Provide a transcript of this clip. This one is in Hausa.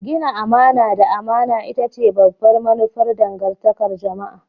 Gina amana da amana ita ce babbar manufar dangantakar jama'a.